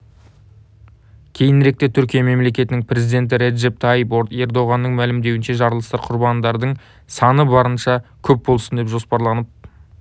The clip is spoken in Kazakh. кейініректе түркия мемлекетінің президенті реджеп тайип ердоғанның мәлімдеуінше жарылыстар құрбандардың саны барынша көп болсын деп жоспарланып